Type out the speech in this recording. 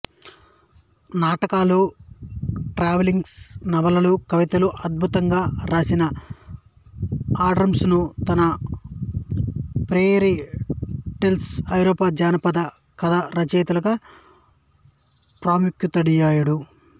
నాటకాలు ట్రావెలాగ్స్ నవలలు కవితలు అద్భుతంగా రాసినా ఆండర్సన్ తన ఫెయిరీ టేల్స్ ఐరోపా జానపద కథలు రచయితగా ప్రఖ్యాతుడయ్యాడు